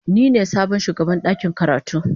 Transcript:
Ni ne sabon shugaban dakin karatu.